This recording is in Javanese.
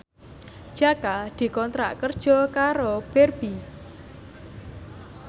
Jaka dikontrak kerja karo Barbie